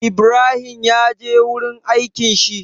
Ibrahim ya je wurin aikin shi?